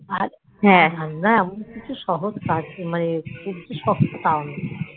আর রান্না এমন কিছু একটা সহজ কাজ মানে খুব যে শক্ত তাওনা